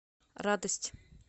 радость